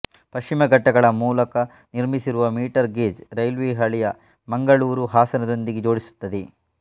ಪಶ್ಚಿಮ ಘಟ್ಟಗಳ ಮೂಲಕ ನಿರ್ಮಿಸಿರುವ ಮೀಟರ್ ಗೇಜ್ ರೈಲ್ವೆ ಹಳಿಯು ಮಂಗಳೂರನ್ನು ಹಾಸನದೊಂದಿಗೆ ಜೋಡಿಸುತ್ತದೆ